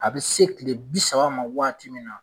A bɛ se tile bi saba ma waati min na